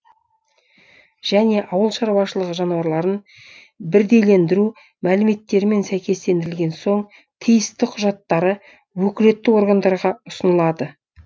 және ауылшаруашылығы жануарларын бірдейлендіру мәліметтерімен сәйкестендірілген соң тиісті құжаттары өкілетті органдарға ұсынылады